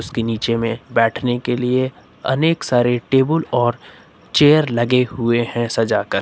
उसके नीचे में बैठने के लिए अनेक सारे टेबल और चेयर लगे हुए हैं सजा कर।